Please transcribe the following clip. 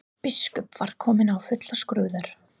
Biskup var kominn í fullan skrúða.